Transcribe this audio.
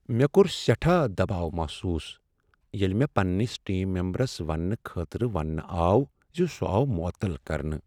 مےٚ کوٚر سیٹھاہ دباو محسوس ییٚلہ مےٚ پنٛنس ٹیم ممبرس ونٛنہٕ خٲطرٕ ونٛنہٕ آو ز سُہ آو معطل کرنہٕ۔